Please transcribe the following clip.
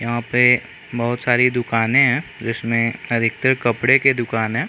यहाँ पे बहुत सारी दुकाने है जिसमे अधिकतर कपड़े के दुकान है।